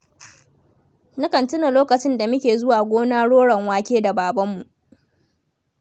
Na kan tuna lokacin da muke zuwa gona roron wake da babanmu.